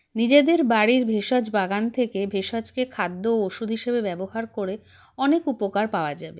নিজেদের বাড়ির ভেষজ বাগান থেকে ভেষজকে খাদ্য ও ওষুধ হিসেবে ব্যবহার করে অনেক উপকার পাওয়া যাবে